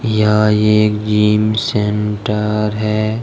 यहाँ एक gym centre है।